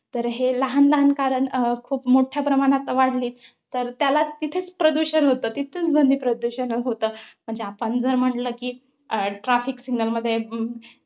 तर हे लहान लहान कारण अं खूप मोठ्या प्रमाणात वाढली तर त्याला तिथेच प्रदूषण होतं. तिथेच ध्वनिप्रदूषण होतं. म्हणजे आपण जर म्हंटल कि, अं traffic signal मध्ये